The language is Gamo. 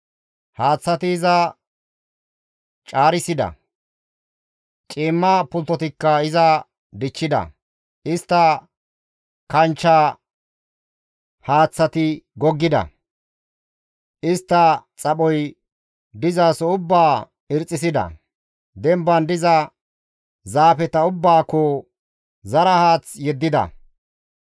Haaththati iza caarissida; ciimma pulttotikka iza dichchida; istta kanchche haaththati goggida; istta xaphoy dizaso ubbaa irxxisida; demban diza miththata ubbaakko zara haath yeddida.